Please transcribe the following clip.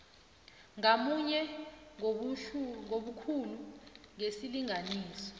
ngamunye ngobukhulu besilinganiso